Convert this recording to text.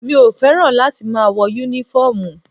Mi ò fẹ́ràn láti máa wọ́ Únífọ́ọ̀mù